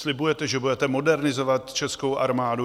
Slibujete, že budete modernizovat českou armádu.